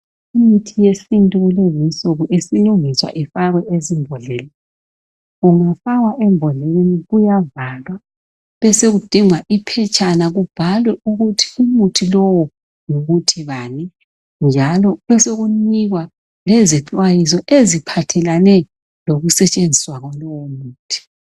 Imithi yesintu kulezinsuku isilungiswa ifakwe ezimbodleleni. Ingafakwa embodleleni uyavalwa. Besekudingwa iphetshana kubhalwe ukuthi umuthi lo ngumuthi bani njalo besekunikwa lezixwayiso eziphathelane lokusetshenziswa kwalowu muthi.